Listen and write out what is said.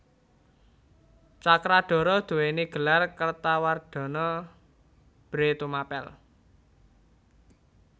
Cakradhara duwéni gelar Kertawardhana Bhre Tumapel